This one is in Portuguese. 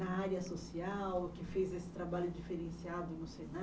Na área social, que fez esse trabalho diferenciado no